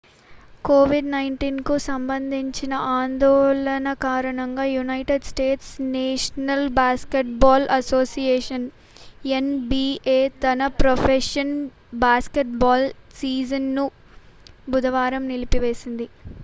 COVID-19 కు సంబంధించిన ఆందోళనల కారణంగా united states national basketball association NBA తన ప్రొఫెషనల్ బాస్కెట్బాల్ సీజన్ను బుధవారం నిలిపివేసింది